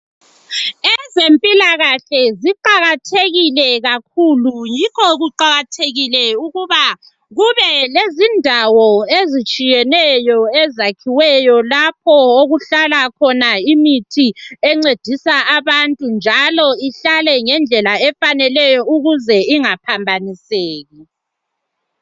Ezempilakahle ziqakathekile kakhulu yikho kuqakathekile ukuba kube lezindawo ezitshiyeneyo ezakhiweyo lapho okuhlala khona imithi encedisa abantu njalo ihlale ngendlela efaneleyo ukuze ingaphambaniseki